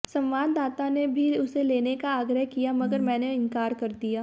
संवाददाता ने भी उसे लेने का आग्रह किया मगर मैंने इंकार कर दिया